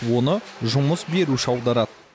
оны жұмыс беруші аударады